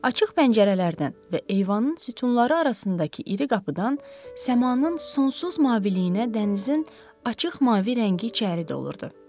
Açıq pəncərələrdən və eyvanın sütunları arasındakı iri qapıdan səmanın sonsuz maviliyinə dənizin açıq mavi rəngi içəri dolurdu.